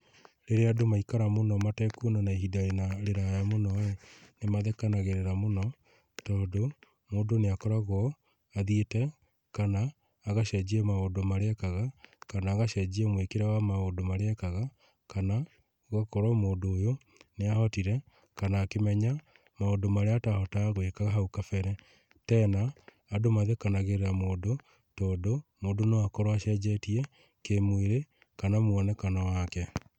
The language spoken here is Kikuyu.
Rĩrĩa andũ maikara mũno matekuonana ihinda riraya mũno-rĩ nĩmathekanagĩrĩra mũno, tondũ mũndũ nĩakoragwo athiĩte kana agacenjia maũndũ marĩa ekaga kana agacenjia mwĩkĩre wa maũndũ marĩa ekaga, kana gũgakorwo mũndũ ũyũ nĩahotire kana akĩmenya maũndũ marĩa atahotaga gwĩka hau kabere. Tena andũ mathekanagĩrĩra mũndũ, tondũ mũndũ no akorwo acenjetie kĩmwĩrĩ kana muonekano wake.